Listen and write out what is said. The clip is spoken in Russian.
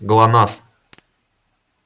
глонассс